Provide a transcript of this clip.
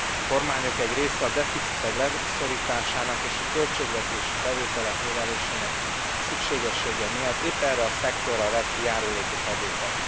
A kormányok egy része a deficitek leszorításának és a költségvetési bevételek növelésének szükségessége miatt épp erre a szektorra vet ki járulékos adókat.